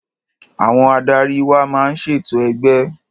Àwọn adarí wa máa ń ṣètò ẹgbẹ́